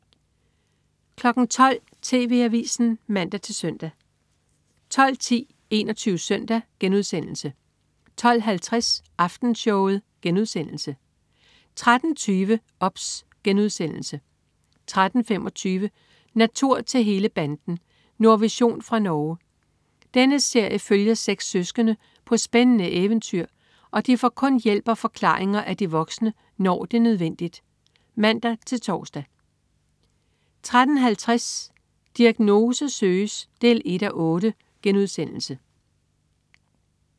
12.00 TV AVISEN (man-søn) 12.10 21 SØNDAG* 12.50 Aftenshowet* 13.20 OBS* 13.25 Natur til hele banden. Nordvision fra Norge. Denne serie følger seks søskende på spændende eventyr, og de får kun hjælp og forklaringer af de voksne, når det er nødvendigt (man-tors) 13.50 Diagnose søges 1:8*